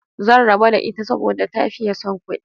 Zan rabo da ita saboda ta fiye son kudi